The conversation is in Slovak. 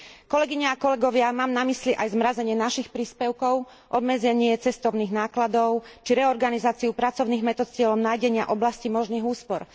Kolegyne a kolegovia, mám na mysli aj zmrazenie našich príspevkov, obmedzenie cestovných nákladov či reorganizáciu pracovných metód s cieľom nájdenia oblastí možných úspor.